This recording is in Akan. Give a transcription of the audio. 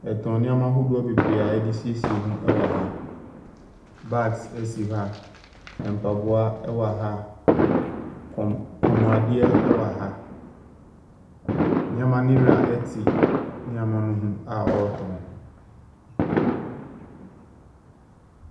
Yɛtɔn nneɛma ahodoɔ bebree a yɛde siesie yɛn ho wɔ ha. Bags si ha. Ɛmpaboa ɛwɔ ha. Kɔn komuade wɔ ha. Nneɛma no wura nneɛma no ho a ɔretɔn.